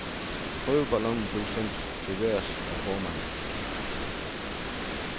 Prøveballonen blev sendt til vejrs af formanden.